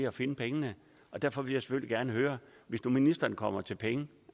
at finde pengene og derfor vil jeg selvfølgelig gerne høre hvis nu ministeren kommer til penge